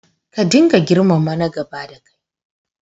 Ka dinga girmama na gaba dakai.